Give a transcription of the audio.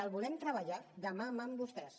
i volem treballar mà a mà amb vostès